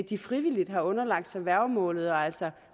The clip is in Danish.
de frivilligt har underlagt sig værgemålet og altså